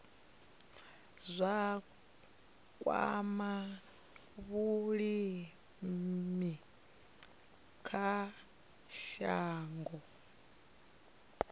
zwa kwama vhulimi kha shango